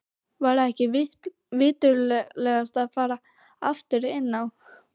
Væri ekki viturlegast að fara aftur inn á